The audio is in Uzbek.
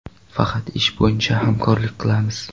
Faqat ish bo‘yicha hamkorlik qilganmiz.